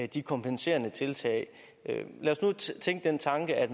de kompenserende tiltag lad os nu tænke den tanke at